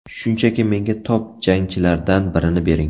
Shunchaki menga top jangchilardan birini bering.